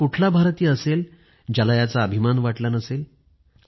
असं कुठला भारतीय असेल ज्याला याचा अभिमान वाटला नसेल